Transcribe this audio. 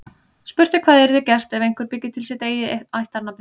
Spurt er hvað yrði gert ef einhver byggi til sitt eigið ættarnafn í dag.